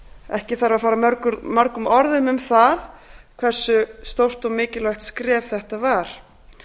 ekki þarf að fara mörgum orðum um það hversu stórt og mikilvægt skref þetta var